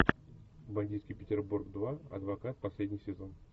бандитский петербург два адвокат последний сезон